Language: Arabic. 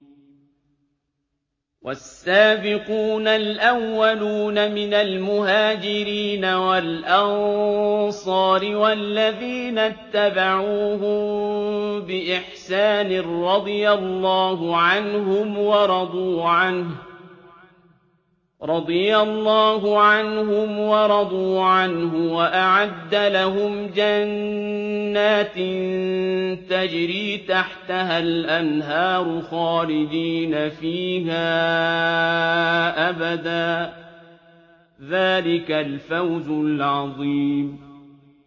وَالسَّابِقُونَ الْأَوَّلُونَ مِنَ الْمُهَاجِرِينَ وَالْأَنصَارِ وَالَّذِينَ اتَّبَعُوهُم بِإِحْسَانٍ رَّضِيَ اللَّهُ عَنْهُمْ وَرَضُوا عَنْهُ وَأَعَدَّ لَهُمْ جَنَّاتٍ تَجْرِي تَحْتَهَا الْأَنْهَارُ خَالِدِينَ فِيهَا أَبَدًا ۚ ذَٰلِكَ الْفَوْزُ الْعَظِيمُ